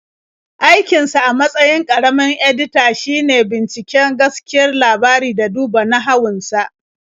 Aikinsa a matsayin ƙaramin-edita shine bincika gaskiyar labari da duba nahawun sa.